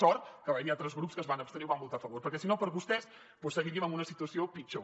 sort que va haver hi altres grups que es van abstenir o hi van votar a favor perquè si no per vostès doncs seguiríem en una situació pitjor